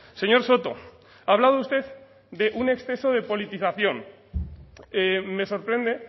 señor soto ha hablado usted de un exceso de politización me sorprende